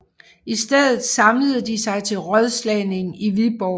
I stedet samlede de sig til rådslagning i Viborg